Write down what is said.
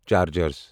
chargers